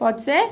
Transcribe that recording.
Pode ser?